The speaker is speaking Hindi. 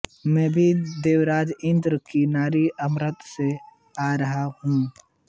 मैं अभी देवराज इन्द्र की नगरी अमरावती से आ रहा हूँ